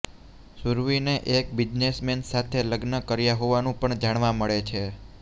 સુરવીને એક બિઝનેસમેન સાથે લગ્ન કર્યા હોવાનું પણ જાણવા મળે છે